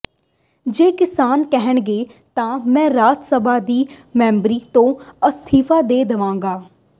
ਜੇ ਕਿਸਾਨ ਕਹਿਣਗੇ ਤਾਂ ਮੈਂ ਰਾਜ ਸਭਾ ਦੀ ਮੈਂਬਰੀ ਤੋਂ ਅਸਤੀਫਾ ਦੇ ਦੇਵਾਂਗਾ